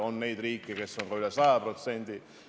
On neid riike, kes on ka üle 100%.